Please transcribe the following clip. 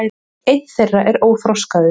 einn þeirra er óþroskaður